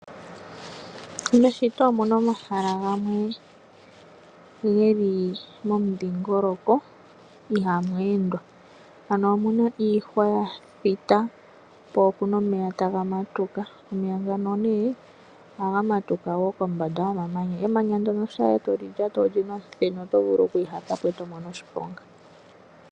Meshito omu na omahala gamwe geli momudhingoloko ihamu endwa. Ano omu na iihwa ya thita, po ope na omeya taga matuka. Omeya ngano ohaya matuka kombanda yomamanya . Emanya ndyono shampa ndele toli lata oli na omuthenu, oto vulu oku ihata po, eto mono oshiponga.